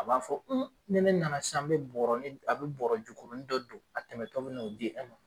A b'a fɔ ni ne nana sisan n bɛ bɔɔrɔni a bɛ bɔɔrɔ jukurunin dɔ don a tɛmɛtɔ bɛ n'o di e ma.